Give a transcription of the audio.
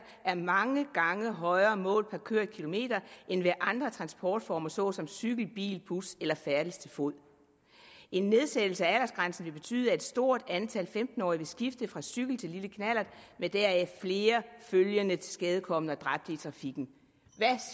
er mange gange højere målt per kørt kilometer end ved andre transportformer såsom cykel bil bus eller færdes til fods en nedsættelse af aldersgrænsen vil betyde at et stort antal femten årige vil skifte fra cykel til lille knallert med deraf følgende flere tilskadekomne og dræbte i trafikken hvad